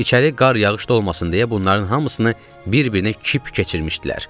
İçəri qar yağış da olmasın deyə bunların hamısını bir-birinə kip keçirmişdilər.